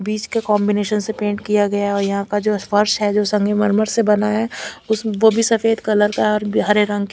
बीच का कॉन्बिनेशन से पेंट किया गया और यहां का जो स्पर्श है जो संगमरमर से बना है वह भी सफेद कलर का और हरे रंग--